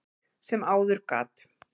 sem áður gat.